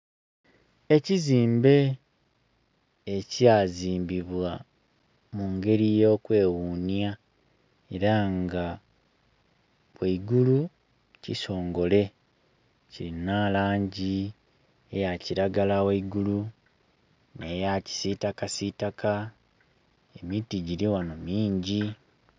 Ekizimbe ekya zimbibwa mu ngeri yo kwe ghunya era nga ghaigulu kisongole kilina langi eya kilagala ghaigulu ne ya kisitakasitaka emiti giri ghano mingi.